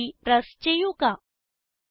Enter key press ചെയ്യുക